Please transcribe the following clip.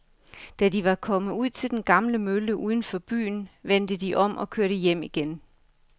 Da de var kommet ud til den gamle mølle uden for byen, vendte de om og kørte hjem igen.